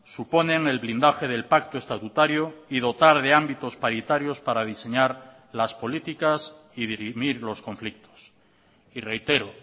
suponen el blindaje del pacto estatutario y dotar de ámbitos paritarios para diseñar las políticas y dirimir los conflictos y reitero